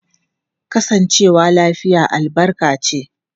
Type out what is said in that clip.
Kasancewa lafiya albarka ce.